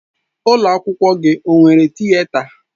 Ụlọ akwụkwọ gị ọ nwere Tịeta?